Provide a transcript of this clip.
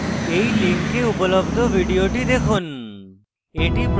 এই লিঙ্কে উপলব্ধ video দেখুন